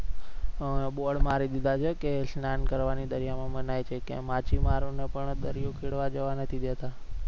bord મારી દીધા છે કે સ્નાન કરવાની દરિયા મનાય છે કે માછીમારો ને પણ દરિયો ખેડવા જવા નથી દેતા.